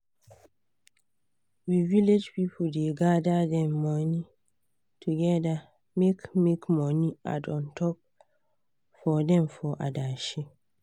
we village pipu da gather dem money together make make money add untop for them for adashi